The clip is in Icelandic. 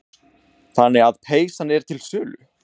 Magnús: Þannig að peysan er til sölu?